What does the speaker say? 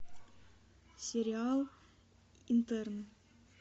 сериал интерны